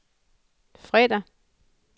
fredag